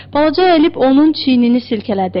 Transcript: Balaca əyilib onun çiynini silkələdi.